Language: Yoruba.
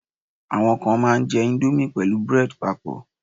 awon kan ma n je Indomie pẹlu bread papọ